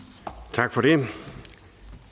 tak for